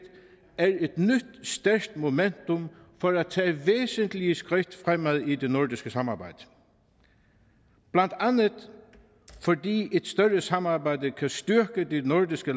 er et nyt stærkt momentum for at tage væsentlige skridt fremad i det nordiske samarbejde blandt andet fordi et større samarbejde kan styrke de nordiske